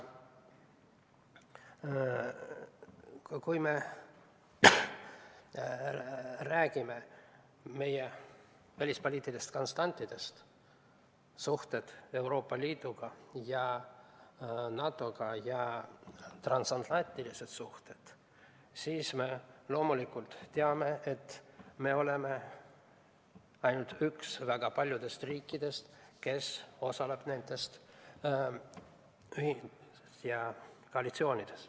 Kui räägime meie välispoliitilistest konstantidest – suhted Euroopa Liidu ja NATO‑ga, transatlantilised suhted –, siis me loomulikult teame, et oleme ainult üks väga paljudest riikidest, kes osaleb nendes koalitsioonides.